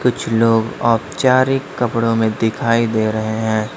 कुछ लोग औपचारिक कपड़ों में दिखाई दे रहे हैं।